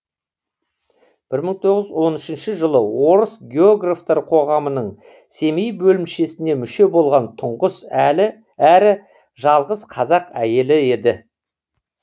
бір мың тоғыз он үшінші жылы орыс географтар қоғамының семей бөлімшесіне мүше болған тұңғыш әрі жалғыз қазақ әйелі еді